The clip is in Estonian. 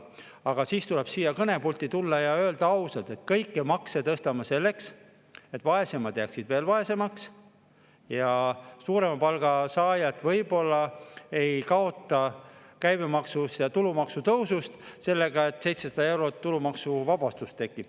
Aga siis tuleb siia kõnepulti tulla ja öelda ausalt, et me kõiki makse tõstame selleks, et vaesemad jääksid veel vaesemaks ja suurema palga saajad võib-olla ei kaota käibemaksu ja tulumaksu tõusust sellega, et 700 eurot tulumaksuvabastust tekib.